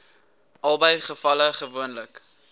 albei gevalle gewoonlik